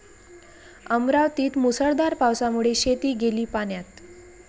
अमरावतीत मुसळधार पावसामुळे शेती गेली 'पाण्यात'